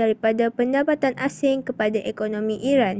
daripada pendapatan asing kepada ekonomi iran